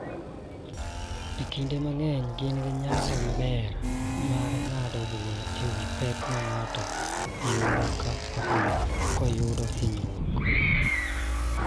Kinde mang�eny gin gi nyalo maber mar ng�ado bura e wi pek ma ng�ato yudo ka oyudo hinyruok.